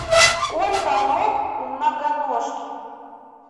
сколько ног у многоножки